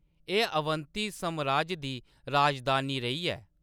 एह्‌‌ अवंती सामराज दी राजधानी रेही ऐ।